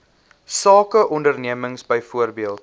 sake ondernemings byvoorbeeld